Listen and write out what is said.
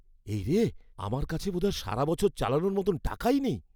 এই রে, আমার কাছে বোধহয় সারা বছর চালানোর মতো টাকাই নেই!